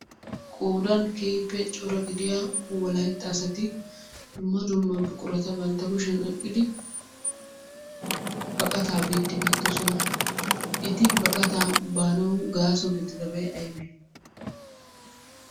Qoodan keehippe cora gidiya wolayitta asati dumma dumma buqurata bantta kushiyan oyiqqidi baqataa biiddi beettoosona. Eti baqataa baanawu gaaso gididabay ayibee?